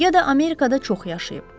Ya da Amerikada çox yaşayıb.